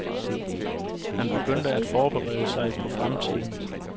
Han begyndte at forberede sig på fremtiden.